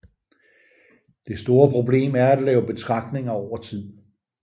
Det store problem er at lave betragtninger over tid